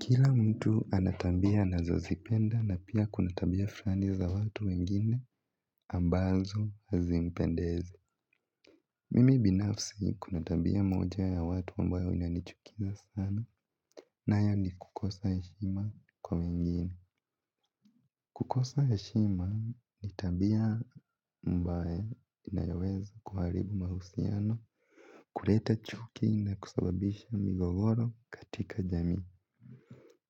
Kila mtu ana tambia anazozipenda na pia kuna tabia frani za watu wengine ambazo hazimpendezi. Mimi binafsi kuna tambia moja ya watu ambayo inanichukiza sana nayo ni kukosa heshima kwa wengine. Kukosa heshima ni tabia ambaye inayoweza kuharibu mahusiano, kureta chuki na kusababisha migogoro katika jamii.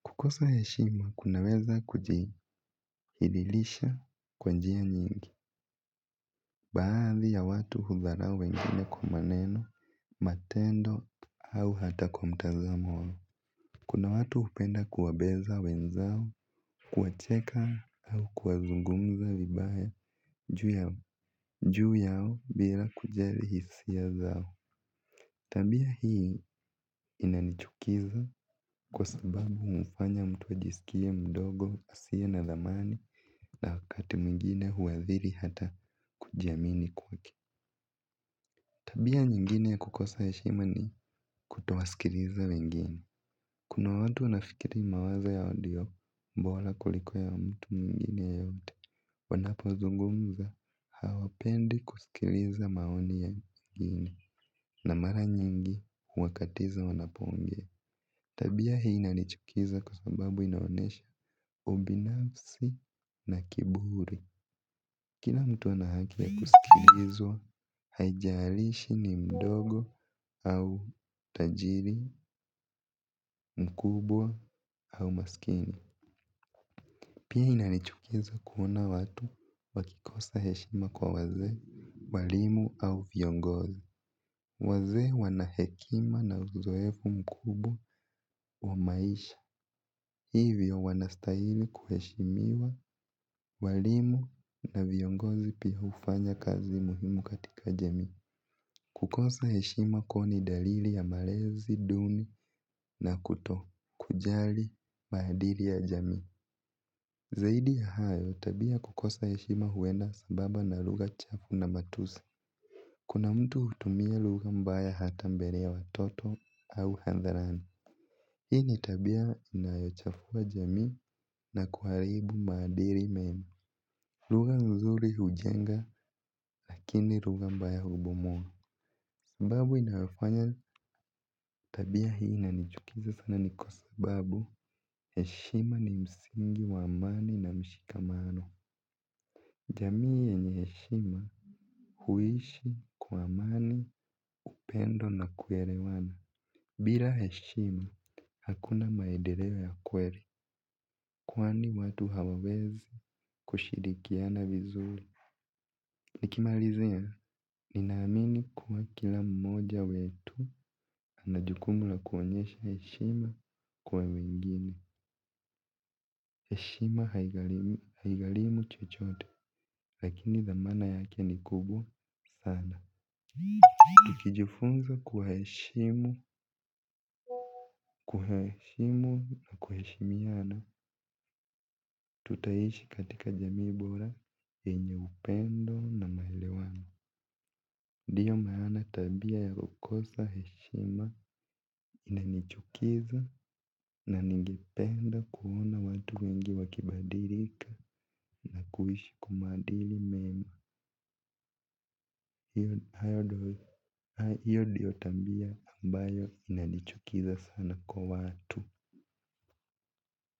Kukosa heshima, kunaweza kujihidhilisha kwa njia nyingi, baadhi ya watu hudharao wengine kwa maneno, matendo, au hata kwa mtazamo wao. Kuna watu hupenda kuwabeza wenzao, kuwacheka au kuwazungumza vibaya juu yao, juu yao bila kujali hisia zao. Tabia hii inanichukiza kwa sababu humfanya mtu ajisikie mdogo asiye na thamani na wakati mwingine huathiri hata kujiamini kwake. Tabia nyingine ya kukosa heshima ni kutowaskiriza wengine. Kuna watu wanafikiri mawazo yao ndio mbola kuliko ya mtu mwingine yeyote. Wanapozungumza hawapendi kusikiriza maoni ya wengine na mara nyingi huwakatiza wanapoongea. Tabia hii inanichukiza kwa sababu inaonesha ubinafsi na kiburi. Kina mtu ana haki ya kusikilizwa haijarishi ni mdogo au tajiri mkubwa au maskini. Pia inanichukiza kuona watu wakikosa heshima kwa wazee walimu au viongozi. Wazee wana hekima na uzoefu mkubwa wa maisha. Hivyo wanastahili kuheshimiwa walimu na viongozi pia hufanya kazi muhimu katika jamii. Kukosa heshima kwao ni daliri ya marezi, duni na kutokujali, maadiri ya jamii. Zaidi ya hayo, tabia ya kukosa heshima huenda sababa na lugha chafu na matusi. Kuna mtu hutumia lugha mbaya hata mbele ya watoto au handharani. Hii ni tabia inayochafua jamii na kuharibu maadiri mema. Ruga nzuri hujenga lakini ruga mbaya hubomoa sababu inayofanya tabia hii inanichukiza sana ni kwa sababu heshima ni msingi wa amani na mshikamano. Jamii yenye heshima huishi kwa amani, upendo na kuerewana. Bila heshima hakuna maedereo ya kweri. Kwani watu hawawezi kushirikiana vizuri. Nikimalizia, ninaamini kuwa kila mmoja wetu ana jukumu la kuonyesha heshima kwa wengine heshima haigalimi, haigalimu chochote. Lakini thamana yake ni kubwa, sana. Tukijifunza kuwaheshimu, kuhaheshimu, na kuheshimiana tutaishi katika jamii bora, yenye upendo na maelewano. Diyo maana tabia ya ukosa heshima inanichukiza na ningependa kuona watu wengi wakibadirika na kuishi kwa maadili mema. Hiyo dio tabia ambayo inanichukiza sana kwa watu.